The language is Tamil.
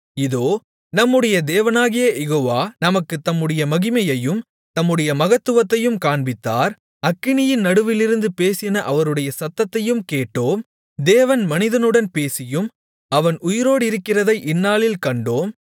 இதோ நம்முடைய தேவனாகிய யெகோவா நமக்குத் தம்முடைய மகிமையையும் தம்முடைய மகத்துவத்தையும் காண்பித்தார் அக்கினியின் நடுவிலிருந்து பேசின அவருடைய சத்தத்தையும் கேட்டோம் தேவன் மனிதனுடன் பேசியும் அவன் உயிரோடிருக்கிறதை இந்நாளில் கண்டோம்